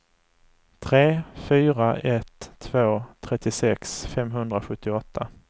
tre fyra ett två trettiosex femhundrasjuttioåtta